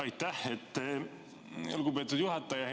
Aitäh, lugupeetud juhataja!